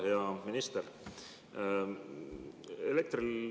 Hea minister!